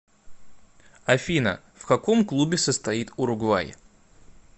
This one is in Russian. афина в каком клубе состоит уругвай